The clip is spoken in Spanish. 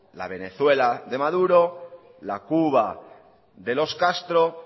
la venezuela de maduro la cuba de los castro